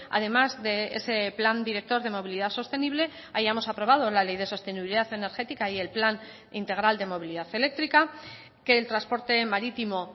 además de ese plan director de movilidad sostenible hayamos aprobado la ley de sostenibilidad energética y el plan integral de movilidad eléctrica que el transporte marítimo